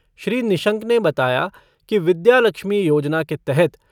श्री निशंक ने बताया कि विद्यालक्ष्मी योजना के तहत